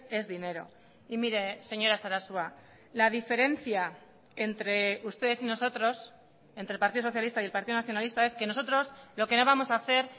es dinero y mire señora sarasua la diferencia entre ustedes y nosotros entre el partido socialista y el partido nacionalista es que nosotros lo que no vamos a hacer